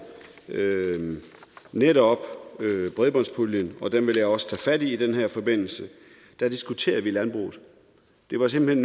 netop bredbåndspuljen den vil jeg også tage fat i i den her forbindelse diskuterede vi landbruget det var simpelt